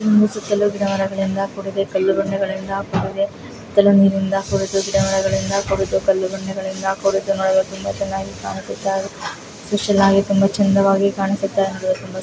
ಒಂದು ಸುತ್ತಲೂ ಗಿಡಮರಗಳಿಂದ ಕೂಡಿದೆ ಕಲ್ಲು ಬಂಡೆಗಳಿಂದ ಕೂಡಿದೆ ಸುತ್ತಲೂ ನೀರಿನಿಂದ ಕೂಡಿದೆ ಗಿಡಮರಗಳಿಂದ ಕೂಡಿದೆ ಕಲ್ಲು ಬಂಡೆಗಳಿಂದ ಕೂಡಿದೆ ನೋಡಲು ತುಂಬಾ ಚೆನ್ನಾಗಿ ಕಾಣಿಸುತ್ತಿದೆ ಚೆನ್ನಾಗಿ ತುಂಬಾ ಚೆಂದ ವಾಗಿ ಕಾಣಿಸುತ್ತ ಇದೆ.